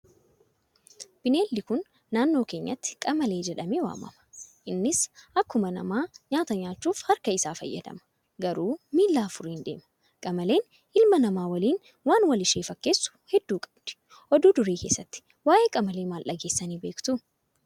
Bineeldi Kun, naannoo keenyatti qamalee jedhamee waamama. Innis akkuma namaa nyaata nyaachuuf, harka isaa fayyadama, garuu miila afuriin deema. Qamaleen ilma namaa waliin waan wal ishee fakkeessu hedduu qabdi. Oduu durii keessatti, waa'ee qamalee maal dhageessanii beektu?